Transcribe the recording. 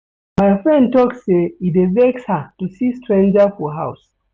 My friend tok sey e dey vex her to see stranger for house.